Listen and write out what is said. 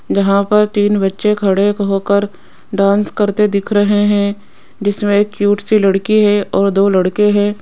यहां पर तीन बच्चे खडे होकर डांस करते दिख रहे है जिसमे एक क्यूट सी लड़की है और दो लड़के है।